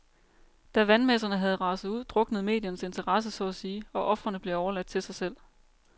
Da vandmasserne havde raset ud, druknede mediernes interesse så at sige, og ofrene blev overladt til sig selv.